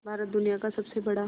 भारत दुनिया का सबसे बड़ा